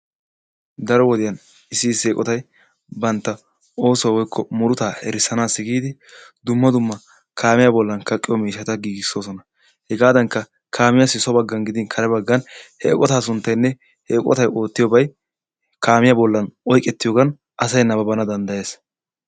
Daro wodiyan issi issi eqotay bantta oosuwa woykko murutaa erissanaassi giidi dumma dumma kaamiya bollan kaqqiyo miishshata giigissoosona. Hegaadankka kaamiyassi so baggan gidin kare baggan he eqotaa sunttay gidin he eqotay oottiyobay kaamiya bollan oyiqettiyogan asay nabbabbana danddayes.